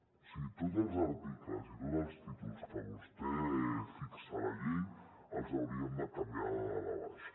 o sigui tots els articles i tots els títols que vostè fixa a la llei els hauríem de canviar de dalt a baix